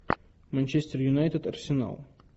манчестер юнайтед арсенал